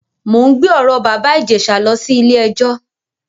Mò ń gbé ọ̀rọ̀ bàbá Ìjẹ̀ṣà lọ sí ilé-ẹjọ.